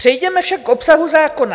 Přejděme však k obsahu zákona.